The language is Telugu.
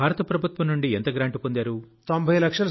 మీరు భారత ప్రభుత్వం నుండి ఎంత గ్రాంట్ పొందారు